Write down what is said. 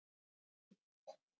Þetta verður að upplýsa.